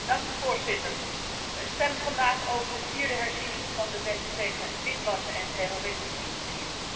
Voorzitter, we stemmen vandaag over de vierde herziening van de wet tegen witwassen en terrorismefinanciering.